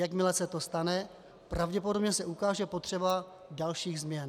Jakmile se to stane, pravděpodobně se ukáže potřeba dalších změn.